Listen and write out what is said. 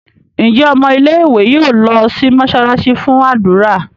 Njé Ọmọ ilé ìwé yóò ló sì mosalasi fún ádùrá?